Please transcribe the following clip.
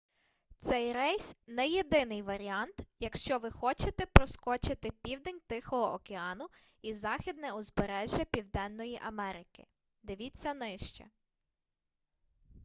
цей рейс - не єдиний варіант якщо ви хочете проскочити південь тихого океану і західне узбережжя південної америки. див. нижче